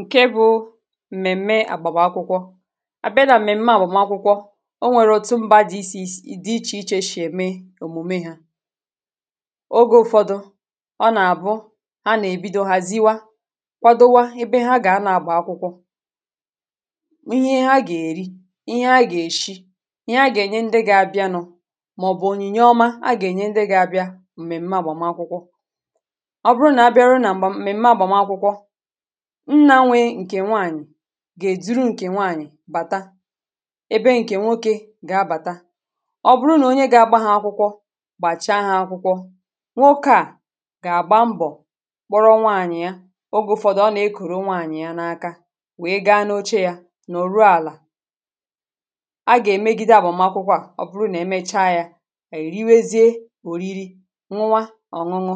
ǹke bụ m̀mèm̀me àgbàgbụkwụ à bịa na m̀mèm̀me àbụ̀makwụkwọ o nwèrè òtù m̀bà dị ísì dị ichè ichè shì ème òmùme hȧ ogė ụ̀fọdụ ọ nà-àbụ a nà-èbido hàziwa kwadowȧ ebe ha gà-anọ̇ àgbà akwụkwọ ihe ha gà-èri ihe ha gà-èshi ihe ha gà-ènye ndị ga-abịa nọ màọ̀bụ̀ onye. nyė ọma ha gà-ènye ndị ga-abịa m̀mèm̀me àgbàm akwụkwọ nnȧnwė ǹkè nwaànyị̀ gà-èduru ǹkè nwaànyị̀ bàta ebe ǹkè nwokė gà-abàta ọ bụrụ nà onye gà-agba ha akwụkwọ gbàcha ha akwụkwọ nwoke à gà-àgba mbọ̀ kpọrọ nwaànyị̀ ya ogė ụ̀fọdụ ọ nà-ekòro nwaànyị̀ ya n’aka wèe gaa n’oche yȧ n’òru àlà a gà-èmegide abụ̀makwụkwọ à ọ bụrụ nà emecha yȧ è riwezie òriri nwa ọ̀ṅụnụ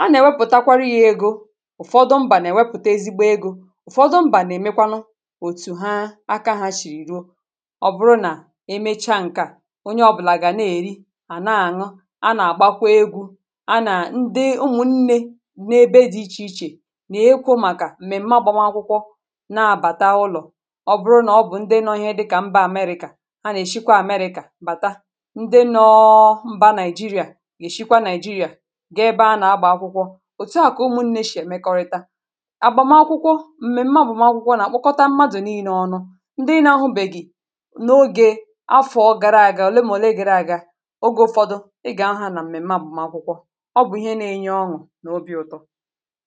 a nà-èwepụ̀takwara ya ego ụ̀fọdụ m̀bà nà-èmekwanụ òtù ha aka ha shì ruo ọ bụrụ nà e mecha ǹkè a onye ọ̀bụlà gà na-èri à na-àṅụ a nà-àgbakwa egwu a nà ndị ụmụ̀ nnė n’ebe dị̇ ichè ichè nà-ekwo màkà m̀mèm̀ma gbana akwụkwọ na-abàta ụlọ̀ ọ bụrụ nà ọ bụ̀ ndị nọọhịa dịkà mbà amerika a nà-èshikwa amerika mbàta ndị nọọ mbà nàịjirịà èshikwa nàịjirịà ga-ebe a nà-agbà akwụkwọ òtu à kà ụmụ̀ nne shì èmekọrịta m̀mèmme bụ̀ m̀akwụkwọ nà-akpọkọta m̀madụ̀ nii n’ọnụ ndị nȧ-ahụ bèghì n’ogė afọ̀ gara aga ole m̀olee gịrị aga oge ụfọdụ̇ ị gà-aha nà m̀mèm̀me bụ̀ m̀akwụkwọ ọ bụ̀ ihe nȧ-enye ọṅụ̀ n’obi ụtọ̇